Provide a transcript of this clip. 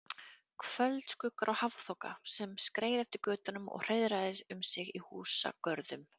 Kvöldskuggar og hafþoka, sem skreið eftir götunum og hreiðraði um sig í húsagörðum.